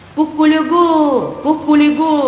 Quqququ, Quqququ!